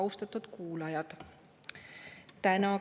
Austatud kuulajad!